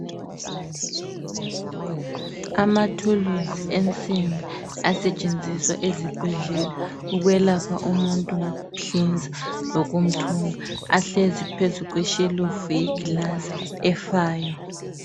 Amathulusi ensimbi asetshenziswa ezibhedlela ukwelapha umuntu ngokumhlinza lokumthunga. Ahlezi phezu kweshelufu yegilasi efayo.